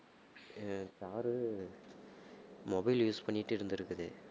அஹ் sir mobile use பண்ணிட்டு இருந்திருக்குது